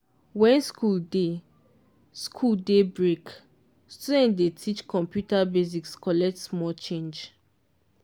when school dey school dey breakstudents dey teach computer basics collect small change.